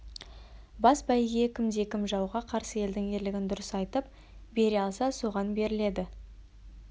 бас бәйге кім де кім жауға қарсы елдің ерлігін дұрыс айтып бере алса соған беріледі